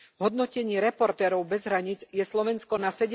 V hodnotení Reportérov bez hraníc je Slovensko na